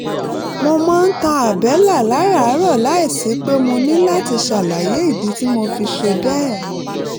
mo máa ń tan àbẹ́là láràárọ̀ láìsí pé mo ní láti ṣàlàyé ìdí tí mo fi ṣe bẹ́ẹ̀